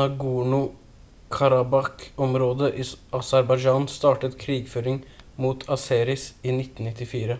nagorno-karabakh-området i aserbajdsjan startet krigføring mot azeris i 1994